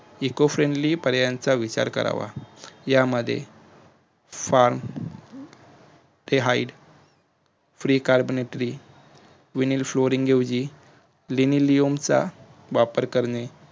ecofriedly पर्याचा विचार करावा यामध्ये farmphidefree carbonatoryvnyl flooringlenileomsa वापर करणे